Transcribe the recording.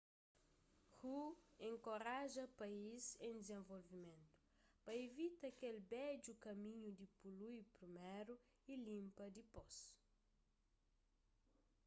hu enkoraja país en dizenvolvimentu pa ivita kel bedju kaminhu di polui priméru y linpa dipôs